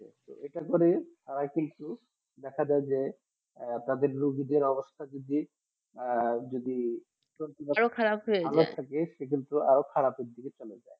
এটার পরে আর কিন্তু দেখা যায় যে তাদের গুপ দি অবস্থা আর যদি আরো খারাপ হয়ে যায় ভালো থাকে কিন্তু সেই আরো খারাপে দিকে চলে যায়